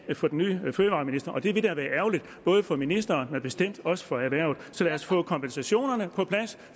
for den nye fødevareminister og det ville da være ærgerligt både for ministeren men bestemt også for erhvervet så lad os få kompensationen